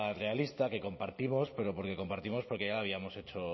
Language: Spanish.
realista que compartimos pero porque compartimos porque ya habíamos hecho